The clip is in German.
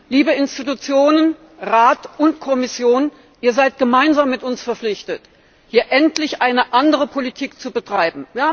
Liebe Institutionen, Rat und Kommission, ihr seid gemeinsam mit uns verpflichtet, hier endlich eine andere Politik zu betreiben.